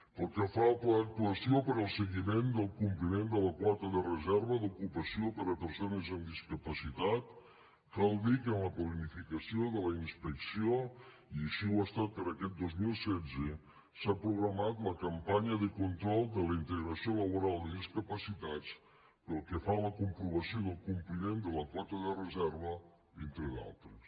pel que fa al pla d’actuació per al seguiment del compliment de la quota de reserva d’ocupació per a persones amb discapacitat cal dir que en la planificació de la inspecció i així ho ha estat per a aquest dos mil setze s’ha programat la campanya de control de la integració laboral de discapacitats pel que fa a la comprovació del compliment de la quota de reserva entre d’altres